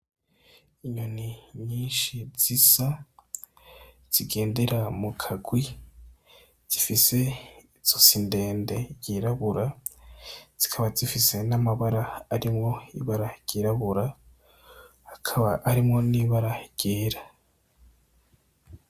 Inyoni nyishi zisa zigendera mukagwi, zifise izosi ndende ryirabura zikaba zifise n' amabara arimwo ibara ryirabura hakaba harimwo n' ibara ryera.